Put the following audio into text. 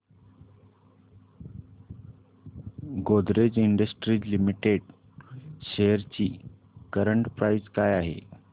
Godrej industries limited shares ची current price काय आहे